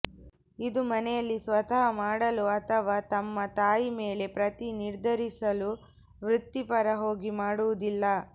ಇದು ಮನೆಯಲ್ಲಿ ಸ್ವತಃ ಮಾಡಲು ಅಥವಾ ತಮ್ಮ ತಾಯಿ ಮೇಲೆ ಪ್ರತಿ ನಿರ್ಧರಿಸಲು ವೃತ್ತಿಪರ ಹೋಗಿ ಮಾಡುವುದಿಲ್ಲ